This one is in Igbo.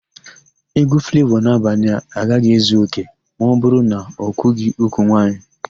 Égwú Flavọ n'Abanịa agaghị ezu òkè ma ọbụrụ na okwughỊ úkwù nwaanyị.